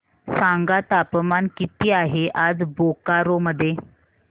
सांगा तापमान किती आहे आज बोकारो मध्ये